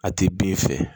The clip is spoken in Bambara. A ti bin fɛ